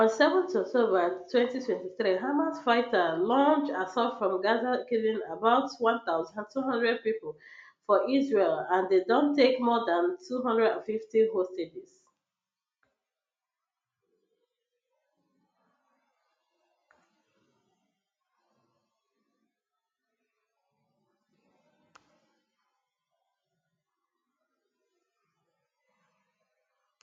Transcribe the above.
on seven october twenty twenty three hamas fighters launch assault from gaza killing about one thousand two hundred people for israel and dem take more dan two hundred and fifty hostages